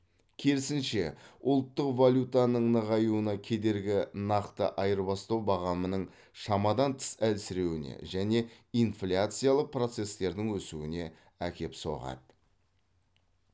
керісінше ұлттық валютаның нығаюына кедергі нақты айырбастау бағамының шамадан тыс әлсіреуіне және инфляциялық процестердің өсуіне әкеп соғады